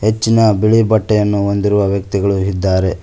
ಹೆಚ್ಚಿನ ಬಿಳಿ ಬಟ್ಟೆಯನ್ನು ಹೊಂದಿರುವ ವ್ಯಕ್ತಿಗಳು ಇದ್ದಾರೆ.